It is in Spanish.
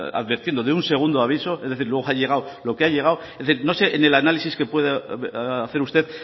advirtiendo de un segundo aviso es decir luego ha llegado lo que ha llegado es decir no sé en el análisis que puede hacer usted